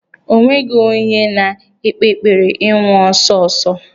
O nweghi onye na-ekpe ekpere ịnwụ ọsọ ọsọ.